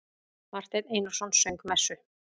Marteinn Einarsson söng messu.